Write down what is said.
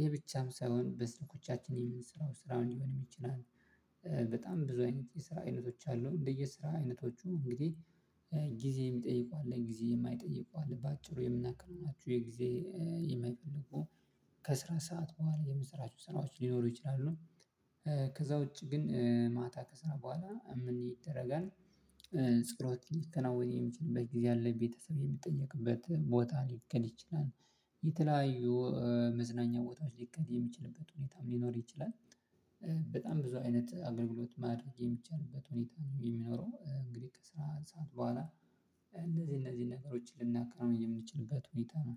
ይሄ ብቻም ሳይሆን በስልኮቻችን የምንሰራው ስራ ሊሆን ይችላል በጣም ብዙ አይነት የስራ አይነቶች አሉ እንደየ ስራ አይነቶቹ እንግዲህ ጊዜ የሚጠይቁ አለ ጊዜ የማይጠይቁ አለ በአጭሩ የምናከናቸው ናችሁ የጊዜ የማይፈልጉ ከስራ ሰዓት በኋላ የምንሠራችሁ ስራዎች ሊኖሩ ይችላሉ ከዛ ውጪ ግን ማታ ከሰራን በኋላ የምንይደረጋል ጸሎት የሚከናወን የሚችልበት ጊዜ አለ ቤተሰብ የምትጠየቅበት ቦታ ሊከድ ይችላል የተለያዩ መዝናኛ ወጣት ሊከድ የሚችልበት ሁኔታም ሊኖር ይችላል በጣም ብዙ አይነት አገልግሎት ማድረግ የሚቻልበት ሁኔታ ነው የሚኖረው እንግዲህ ከስራ ሰዓት በኋላ እንደዚህ እነዚህ ነገሮችን ልናከረው የምንችልበት ሁኔታ ነው